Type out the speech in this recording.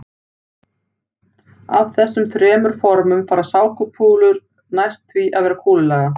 Af þessum þremur formum fara sápukúlur næst því að vera kúlulaga.